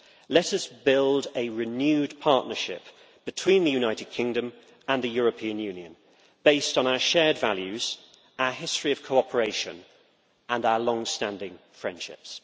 Let us build a renewed partnership between the United Kingdom and the European Union based on our shared values, our history of cooperation and our long standing friendships.